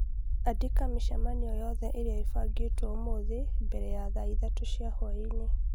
Andĩka mĩcemanio yothe ĩrĩa ĩbangĩtwo ũmũthĩ mbere ya thaa ithathatũ cia hwaĩ-inĩ